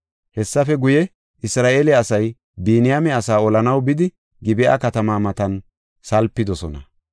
Hessafe guye Isra7eele asay Biniyaame asaa olanaw bidi Gib7a katamaa matan salpidosona.